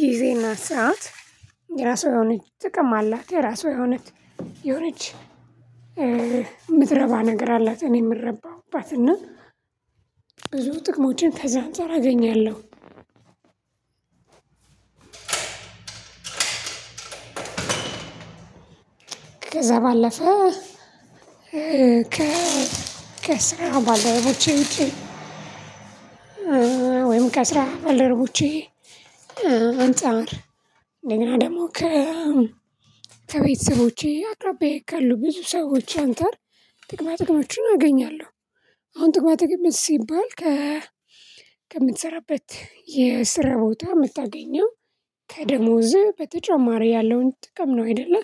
ጊዜና ሰዓት የራሷ የሆነች ጥቅም አላት የራሷ የሆነች የሆነች ምትረባ ነገር አላት እኔ የምረባባት እና ብዙ ጥቅሞችን ከዛ አንፃር አገኛለሁ ከዛ ባለፈ ከስራ ባልደረቦቼ ውጪ ወይም ከስራ ባልደረቦቼ አንፃር እንደገና ደሞ ከቤተሰቦቼ አቅራቢያየ ካሉ ብዙ ሰዎች አንፃር ጥቅማ ጥቅሞችን አገኛለሁ አሁን ጥቅማጥቅም ሲባል ከምትሰራበት የስራ ቦታ የምታገኘው ከደሞዝ በተጨማሪ ያለውን ጥቅም ነው አይደለ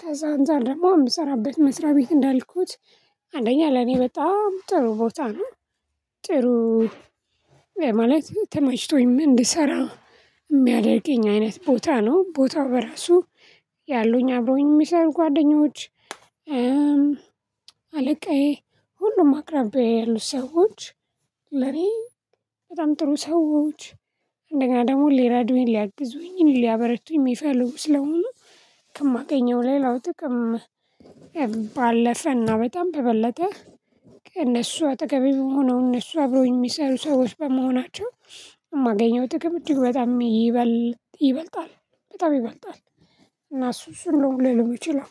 ከዛ አንፃር ደግሞ የምሰራበት መስሪያ ቤት እንዳልኩት አንደኛ ለኔ በጣም ጥሩ ቦታ ነው ጥሩ ማለት ተመችቶኝም እንድሰራ የሚያደርገኝ አይነት ቦታ ነው ቦታው በራሱ ያሉኝ አብሮውኝ የሚሰሩ ጓደኞች አለቃዬ ሁሉም አቅራቢያየ ያሉ ሰዎች ለኔ በጣም ጥሩ ሰዎች እንደገና ደግሞ ሊረዱኝ ሊያግዙኝ ሊያበረቱኝ የሚፈልጉ ስለሆኑ ከማገኘው ሌላው ጥቅም ባለፈና በጣም በበለጠ ከእነሱ አጠገቤ ሆነው እነሱ አብሮኝ የሚሰሩ ሰዎች በመሆናቸው የማገኘው ጥቅም እጅግ በጣም ይበልጣል በጣም ይበልጣል እና እሱ እሱን ነው ልል ምችለው።